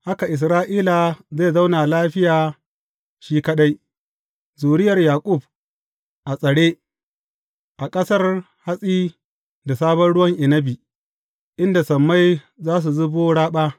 Haka Isra’ila zai zauna lafiya shi kaɗai; zuriyar Yaƙub a tsare a ƙasar hatsi da sabon ruwan inabi, inda sammai za su zuba raɓa.